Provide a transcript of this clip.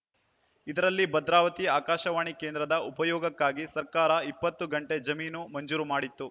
ಇದರಲ್ಲಿ ಭದ್ರಾವತಿ ಆಕಾಶವಾಣಿ ಕೇಂದ್ರದ ಉಪಯೋಗಕ್ಕಾಗಿ ಸರ್ಕಾರ ಇಪ್ಪತ್ತು ಗುಂಟೆ ಜಮೀನು ಮಂಜೂರು ಮಾಡಿತ್ತು